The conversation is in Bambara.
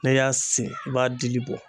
N'i y'a sen i b'a dili bɔ.